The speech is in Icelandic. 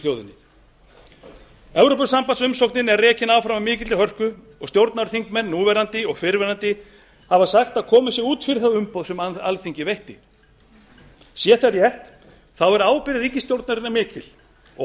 þjóðinni evrópusambandsumsóknin er rekin áfram af mikilli hörku og stjórnarþingmenn núverandi og fyrrverandi hafa sagt að komið sé út fyrir það umboð sem alþingi veitti sé það rétt er ábyrgð ríkisstjórnarinnar mikil og